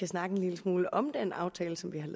snakke en lille smule om den aftale som vi